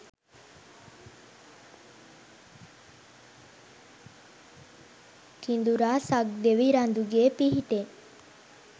කිඳුරා සක් දෙවි රඳුගේ පිහිටෙන්